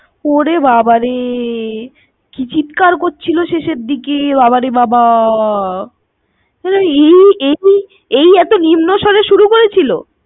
ওরে বাবারে, কি চিৎকার করছিলো শেষের দিকে। বাবারে বাবা। এই এই এই এতো নিম্ন স্বরে শুরু করেছিল।